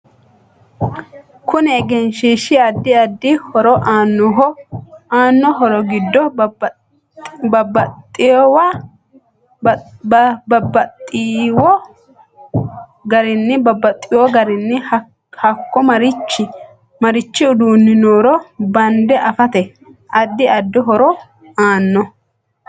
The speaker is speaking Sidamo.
Kuni egenshiishi addi addi horo aanoho aanno horo giddo babaxewo garinni haako marichi uduuni nooro bande afate addi addi horo aanno